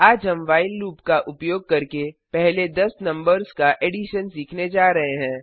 आज हम while loop का उपयोग करके पहले 10 नंबर्स का एडिशन सीखने जा रहे हैं